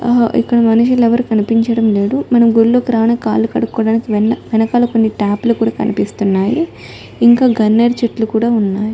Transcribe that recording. ఆ ఇక్కడ మనుషులు ఎవరు కనిపించడం లేదు మనము గుళ్ళోకి కాళ్ళు కడుక్కోడానికి వెన-వెనకాల కొన్ని టాప్ లు కూడా కనిపిస్తున్నాయి ఇంకా గన్నేరు చెట్లు కూడా ఉన్నాయి .